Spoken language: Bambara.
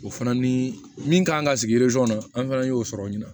O fana ni min kan ka sigi kɔnɔ an fɛnɛ y'o sɔrɔ o ɲɛna